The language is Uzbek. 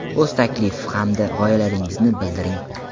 o‘z taklif hamda g‘oyalaringizni bildiring!.